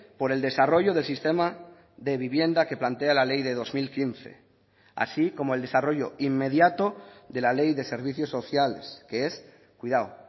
por el desarrollo del sistema de vivienda que plantea la ley de dos mil quince así como el desarrollo inmediato de la ley de servicios sociales que es cuidado